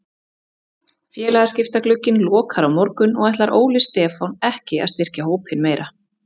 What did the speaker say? Félagaskiptaglugginn lokar á morgun og ætlar Óli Stefán ekki að styrkja hópinn meira.